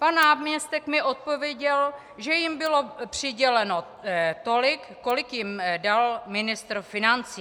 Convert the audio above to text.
Pan náměstek mi odpověděl, že jim bylo přiděleno tolik, kolik jim dal ministr financí.